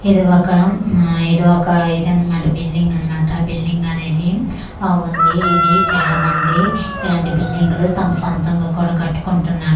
ఇది ఒక ఇది ఒక ఇది అన్నమాట బిల్డింగ్ అన్నమాట బిల్డింగ్ అనేది ఆ ఉంది ఇది చాలా మంది ఇలాంటి బిల్డింగ్లు తమ సొంతంగా కూడా కట్టుకుంటున్నారు కీన్--